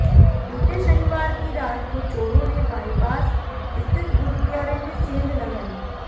बीते शनिवार की रात को चोरों ने बाइपास स्थित गुरुद्वारे में सेंध लगाई